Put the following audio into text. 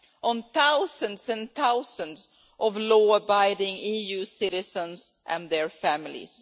on thousands and thousands of law abiding EU citizens and their families.